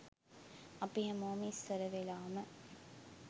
අපි හැමෝම ඉස්සර වෙලාම